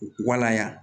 Walaya